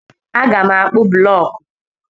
Aga m akpụ blọk.